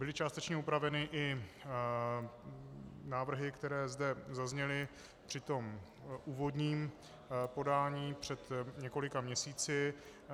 Byly částečně upraveny i návrhy, které zde zazněly při tom úvodním podání před několika měsíci.